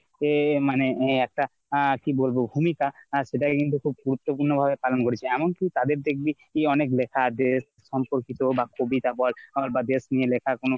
আহ মানে ওই একটা আহ কি বলবো ভূমিকা সেটা কিন্তু খুব গুরুত্ব পূর্ণ ভাবে পালন করেছে। এমনকি তাদের দেখবি তুই অনেক লেখা দেশ সম্পর্কিত বা কবিতা বল আবার বা দেশ নিয়ে লেখা কোনো